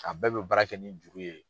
A bɛɛ bi baara kɛ ni juru ye.